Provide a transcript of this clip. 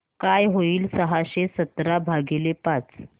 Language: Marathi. काय होईल सहाशे सतरा भागीले पाच